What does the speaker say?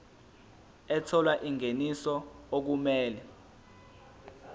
ethola ingeniso okumele